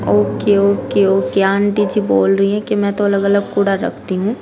Okay okay okay aunty ji बोल रही है की मै तो अलग-अलग कूड़ा रखती हूं।